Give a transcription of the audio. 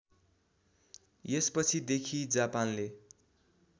यसपछि देखि जापानले